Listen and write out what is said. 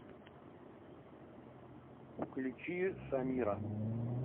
включи самира